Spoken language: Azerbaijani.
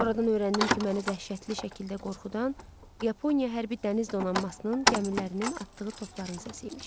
Sonradan öyrəndim ki, məni dəhşətli şəkildə qorxudan Yaponiya hərbi dəniz donanmasının gəmilərinin atdığı topların səsi imiş.